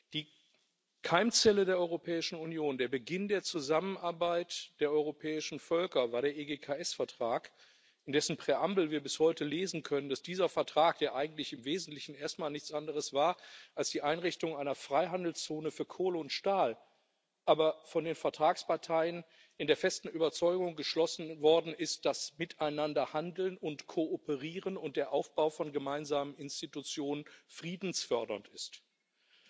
Die Keimzelle der Europäischen Union, der Beginn der Zusammenarbeit der europäischen Völker war der EGKS Vertrag. In dessen Präambel können wir bis heute lesen, dass dieser Vertrag, der eigentlich im Wesentlichen erst mal nichts anderes war als die Einrichtung einer Freihandelszone für Kohle und Stahl, von den Vertragsparteien in der festen Überzeugung geschlossen worden ist, dass ein Handeln und Kooperieren miteinander und der Aufbau von gemeinsamen Institutionen friedensfördernd sind.